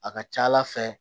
A ka ca ala fɛ